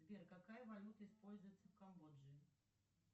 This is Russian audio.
сбер какая валюта используется в камбоджии